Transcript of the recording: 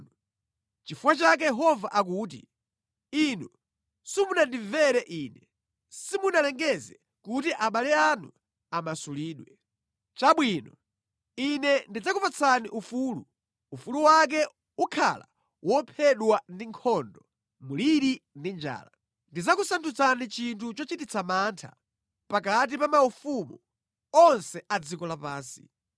“Nʼchifukwa chake Yehova akuti: Inu simunandimvere Ine; simunalengeze kuti abale anu amasulidwe. Chabwino! Ine ndidzakupatsani ufulu; ufulu wake ukhala wophedwa ndi nkhondo, mliri ndi njala. Ndidzakusandutsani chinthu chochititsa mantha pakati pa maufumu onse a dziko lapansi.